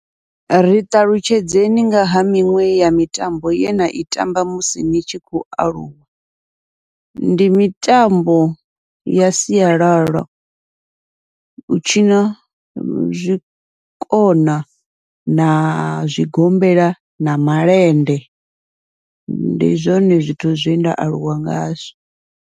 Ri ṱalutshedzeni ngaha miṅwe ya mitambo ye nai tamba musi ni tshi khou aluwa, ndi mitambo ya sialala u tshina zwikona na zwigombela na malende, ndi zwone zwithu zwenda aluwa ngazwo.